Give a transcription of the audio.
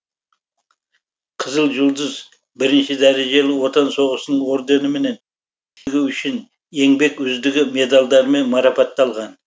қызыл жұлдыз бірінші дәрежелі отан соғысының орденіменен ерлігі үшін еңбек үздігі медальдарымен марапатталған